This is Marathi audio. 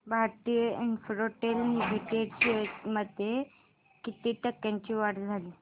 भारती इन्फ्राटेल लिमिटेड शेअर्स मध्ये किती टक्क्यांची वाढ झाली